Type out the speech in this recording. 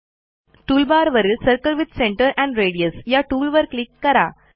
टूलबारवरील circle with centre and radius या टूलवर क्लिक करा